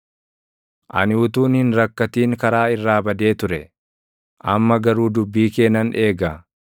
Ani utuun hin rakkatin karaa irraa badee ture; amma garuu dubbii kee nan eega.